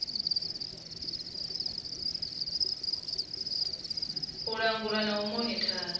u langula na u monithara